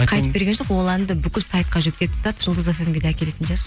қайтып берген жоқ ол әнді бүкіл сайтқа жүктеп тастады жұлдыз фм ге де әкелетін шығар